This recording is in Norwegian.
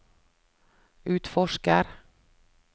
utforsker